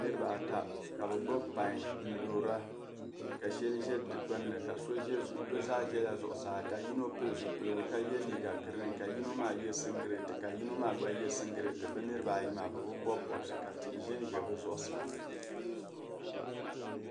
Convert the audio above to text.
Niriba ata, ka bi gbibi pain n dɔɔra, ka. sheli zɛ di gbuni bi zaa. zɛla zuɣu saa ka yino pili zupiligu, ka yɛ liiga green .ka yinɔ maa., ye singilt ka yinɔ maa gba yɛ singilt bi niriba, ayimaa bi bi bɔbi bɔbsi ka tihi zɛ n zɛ. bi zuɣu saa.